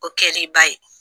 O kɛ l'i ba ye.